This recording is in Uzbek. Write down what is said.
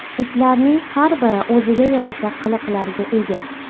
Itlarning har biri o‘ziga yarasha qiliqlarga ega.